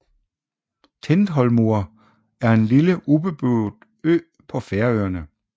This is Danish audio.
Tindhólmur er en lille ubeboet ø på Færøerne